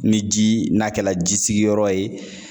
Ni ji n'a kɛla jisigiyɔrɔ ye